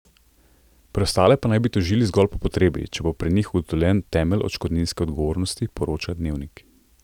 Preostale pa naj bi tožili zgolj po potrebi, če bo pri njih ugotovljen temelj odškodninske odgovornosti, poroča Dnevnik.